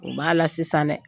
U b'a la sisan dɛ